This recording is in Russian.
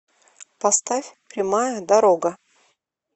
поставь прямая дорога